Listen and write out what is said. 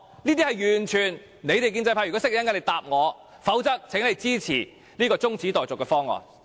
如果建制派知道答案，請於稍後告訴我，否則，請他們支持這項中止待續議案。